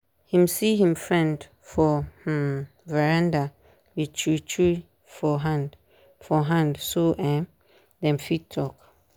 him see him friend for um veranda with chew chew for hand for hand so um dem fit talk